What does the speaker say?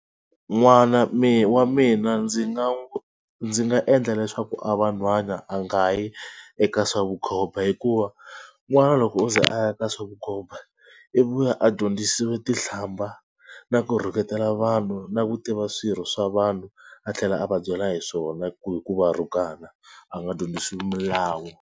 N'wana wa mina ndzi nga ndzi nga endla leswaku a va nhwana a nga yi eka swa vukhomba hikuva n'wana loko o ze a ya ka swavukhoba i vuya a dyondzisiwe tihlamba na ku rhuketela vanhu na ku tiva swirho swa vanhu a tlhela a va byela hi swona ku hi ku va rhukana a nga dyondzisi milawu.